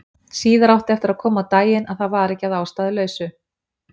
Síðar átti eftir að koma á daginn að það var ekki að ástæðulausu.